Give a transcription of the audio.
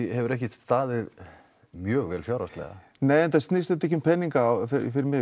hefur ekki staðið mjög vel fjárhagslega enda snýst þetta ekki um peninga fyrir mig